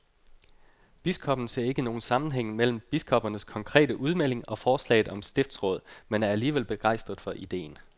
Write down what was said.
Biskoppen ser ikke nogen sammenhæng mellem biskoppernes konkrete udmelding og forslaget om stiftsråd, men er alligevel begejstret for ideen.